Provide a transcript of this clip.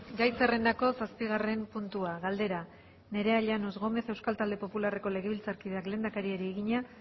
gai zerrendako zazpigarren puntua galdera nerea llanos gómez euskal talde popularreko legebiltzarkideak lehendakariari egina